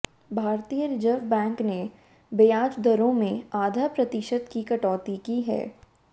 भारतीय reserve bank ने ब्याज दरों में आधा प्रतिशत की कटौती की है